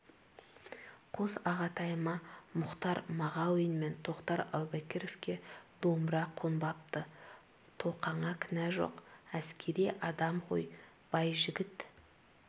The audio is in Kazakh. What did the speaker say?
қос ағатайыма мұхтар мағауин мен тоқтар әубәкіровке домбыра қонбапты тоқаңа кінә жоқ әскери адам ғой байжігіт